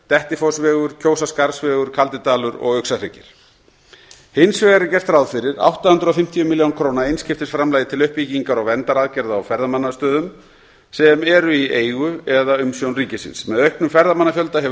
dettifossvegur kjósarskarðsvegur kaldidalur og uxahryggir hins vegar er gert ráð fyrir átta hundruð og fimmtíu milljón króna einskiptisframlagi til uppbyggingar og verndaraðgerða á ferðamannastöðum sem eru í eigu eða umsjón ríkisins með auknum ferðamannafjölda hefur